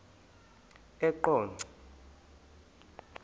eqonco